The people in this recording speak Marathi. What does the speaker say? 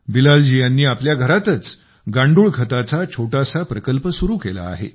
बिलालजी यांनी आपल्या घरातच गांडूळ खताचा छोटासा प्रकल्प सुरु केला आहे